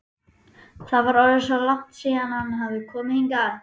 Það var orðið langt síðan hann hafði komið hingað.